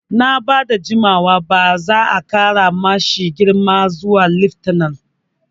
Nan ba da jimawa ba za'a ƙara ma shi girma zuwa laftanar